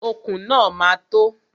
Okùn náà ma tó.